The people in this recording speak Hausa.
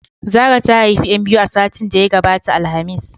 Zara ta haifi 'yan biyu a satin da ya gabata alhamis.